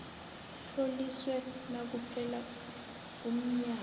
utloliswe nakuphela umnyanya